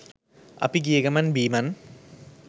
අපි ගිය ගමන් බිමන්